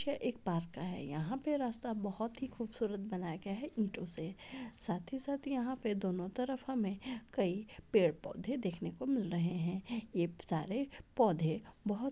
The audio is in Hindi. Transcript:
एक पार्क का है यहाँ पे रास्ता बोहोत ही खूबसूरत बनाया गया है ईंटों से साथ ही साथ यहाँ पे दोनों तरफ हमे कई पेड़-पौधे देखने को मिल रहे है ये सारे पौधे बहुत--